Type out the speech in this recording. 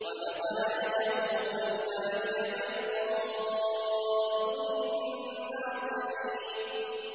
وَنَزَعَ يَدَهُ فَإِذَا هِيَ بَيْضَاءُ لِلنَّاظِرِينَ